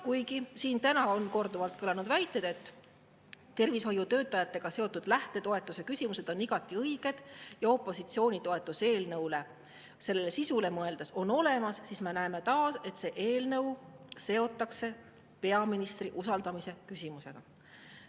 Kuigi siin täna on korduvalt kõlanud väited, et tervishoiutöötajate lähtetoetuste küsimused on igati õiged ja opositsiooni toetus eelnõule, selle sisule mõeldes, on olemas, siis me näeme taas, et see eelnõu seotakse peaministri usaldamise küsimusega.